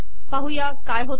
पाहूया काय होते